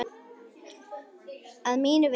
Að mínu viti.